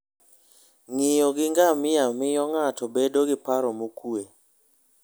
Ng'iyo gi ngamia miyo ng'ato bedo gi paro mokuwe.